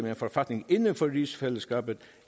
en forfatning inden for rigsfællesskabet